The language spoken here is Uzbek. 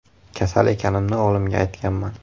“Kasal ekanimni o‘g‘limga aytganman.